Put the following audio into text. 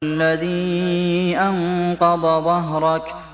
الَّذِي أَنقَضَ ظَهْرَكَ